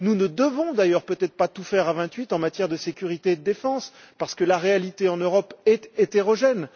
Nous ne devons d'ailleurs peut être pas tout faire à vingt huit en matière de sécurité et de défense parce que la réalité en Europe est hétérogène.